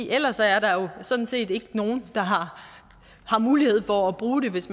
ellers er der jo sådan set ikke nogen der har mulighed for at bruge den hvis